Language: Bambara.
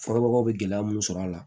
Fɔbagaw bɛ gɛlɛya mun sɔrɔ a la